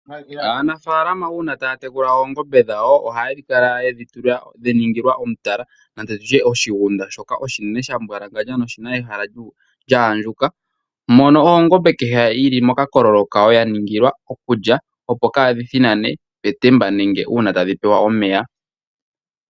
Aanafaalama uuna taya tekula oongombe dhawo oha yedhi kala yedhi ningila omutala nange nditye oshigunda shoka oshinene shambwalangandja noshina ehala lya andjuka, mono ongombe kehe yilimo mokakololo kayo yaningilwa okulya opo kadhi thinane petemba nenge uuna tadhi pewa omeya.